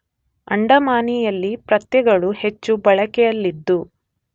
ಅಂಡಮಾನಿಯಲ್ಲಿ ಪ್ರತ್ಯಯಗಳು ಹೆಚ್ಚು ಬಳಕೆಯಲ್ಲಿದ್ದು